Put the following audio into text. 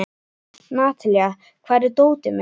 Natalía, hvar er dótið mitt?